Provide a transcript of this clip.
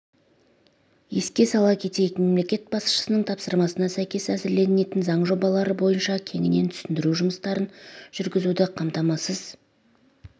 еске сала кетейік мемлекет басшысының тапсырмасына сәйкес әзірленетін заң жобалары бойынша кеңінен түсіндіру жұмыстарын жүргізуді қамтамасыз